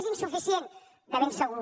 és insuficient de ben segur